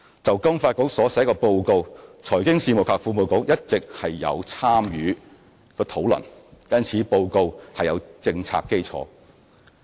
就金發局所寫的報告，財經事務及庫務局一直有參與討論，故此報告有政策基礎。